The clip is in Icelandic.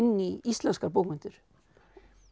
í íslenskar bókmenntir